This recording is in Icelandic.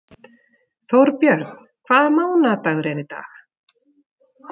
Þórbjörn, hvaða mánaðardagur er í dag?